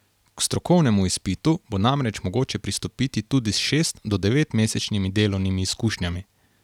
K strokovnemu izpitu bo namreč mogoče pristopiti tudi s šest do devetmesečnimi delovnimi izkušnjami.